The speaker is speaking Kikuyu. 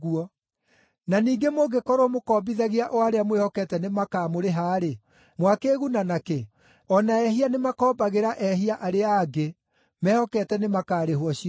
Na ningĩ mũngĩkorwo mũkombithagia o arĩa mwĩhokete nĩmakamũrĩha-rĩ, mwakĩĩguna na kĩ? O na ehia nĩmakombagĩra ehia arĩa angĩ, mehokete nĩmakarĩhwo ciothe.